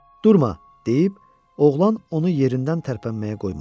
Durma, deyib, oğlan onu yerindən tərpənməyə qoymadı.